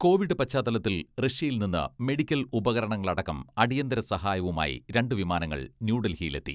Covid പശ്ചാത്തലത്തിൽ റഷ്യയിൽ നിന്ന് മെഡിക്കൽ ഉപകരണങ്ങളടക്കം അടിയന്തര സഹായവുമായി രണ്ട് വിമാനങ്ങൾ ന്യൂഡൽഹിയിലെത്തി.